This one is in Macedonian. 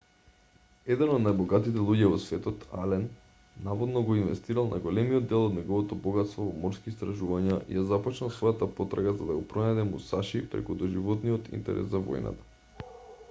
еден од најбогатите луѓе во светот ален наводно го инвестирал најголемиот дел од неговото богатство во морски истражувања и ја започнал својата потрага за да го пронајде мусаши преку доживотниот интерес за војната